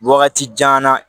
Wagati jan na